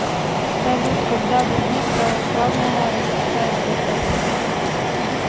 салют когда возник православная российская церковь